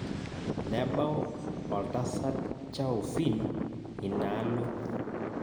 Nebau oltasat Chaufin ina alo